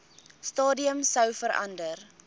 stadium sou verander